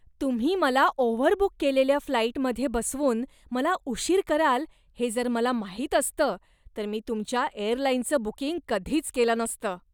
तुम्ही मला ओव्हरबुक केलेल्या फ्लाइटमध्ये बसवून मला उशीर कराल हे जर मला माहीत असतं तर मी तुमच्या एअरलाइनचं बुकिंग कधीच केलं नसतं.